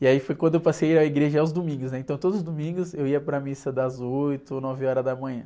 E aí foi quando eu passei a ir à igreja aos domingos, né? Então todos os domingos eu ia para a missa das oito ou nove horas da manhã.